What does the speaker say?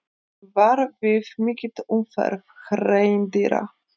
Varað við mikilli umferð hreindýra